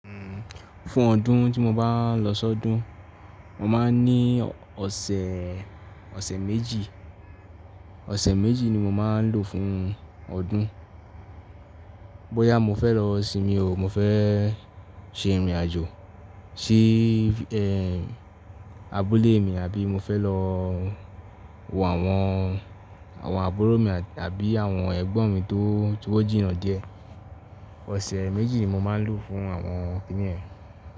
Fún ọdún tí mo bá lọ sọ́dún, mo máa ń ní ọ̀sẹ̀, ọ̀sẹ̀ méjì. Ọ̀sẹ̀ méjì ni mo máa ń lò fún ọdún. Bóyá mo fẹ́ lọ sinmi ò, mo fẹ́ ṣe ìrìnàjò sí ẹ́, abúlé mi àbí mo fẹ́ lọ wo àwọn, àwọn àbúrò mi àbí àwọn ẹ̀gbọ́n mi tó, ti ó, jìnà díẹ̀. Ọ̀sẹ̀ méjì ni mo máa ń lò fún àwọn kíní ẹ.